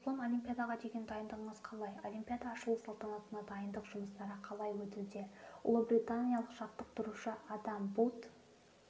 руслан олимпиадаға деген дайындығыңыз қалай олимпиада ашылу салтанатына дайындық жұмыстары қалай өтуде ұлыбританиялық жаттықтырушы адам бут